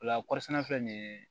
Ola kɔɔri sɛnɛ filɛ nin ye